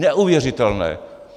Neuvěřitelné!